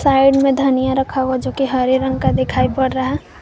Side में धनिया रखा हुआ जो की हरे रंग का दिखाई पड़ रहा है।